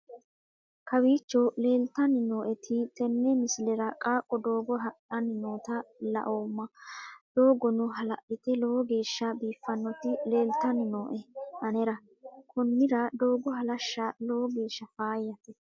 kowiicho leeltanni nooeti tenne misilera qaaqo doogo hadhanni noota laoomma doogono hala'lte lowo geeshsha biiffinoti leeltannni nooe anera konnira doogo halashsha lowo geeshsha faayyate